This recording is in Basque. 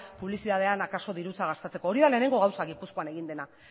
publizitatean akaso dirutza gastatzeko hori da lehenengo gauza gipuzkoan egin dena